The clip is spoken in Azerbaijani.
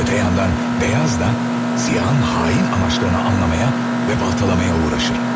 Öte yandan, beyaz da siyahın hain amaçlarını anlamaya və baltalamaya uğraşır.